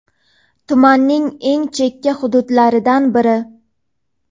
Tumanning eng chekka hududlaridan biri.